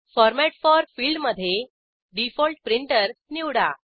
format for फिल्डमधे default printer निवडा